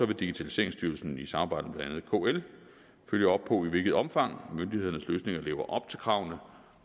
vil digitaliseringsstyrelsen i samarbejde med blandt kl følge op på i hvilket omfang myndighedernes løsninger lever op til kravene